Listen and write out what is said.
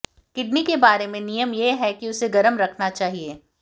kidney के बारे में नियम यह है कि उसे गर्म रखना चाहिए